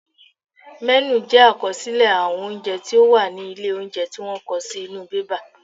Mẹ́nù jẹ àkọsílẹ̀ àwọn oúnjẹ tí ó wà ní ilé óúnjẹ tí wọ́n kọ sí inú bébà